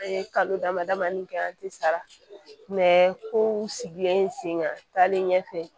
An ye kalo dama damani kɛ an tɛ sara kow sigilen sen taalen ɲɛfɛ